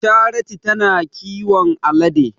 Charity ta na kiwon alade.